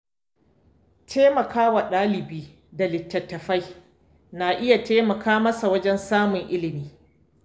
Taimaka wa ɗalibi da littattafai na iya taimaka masa wajen samun ilimi.